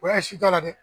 O ya ye si t'a la dɛ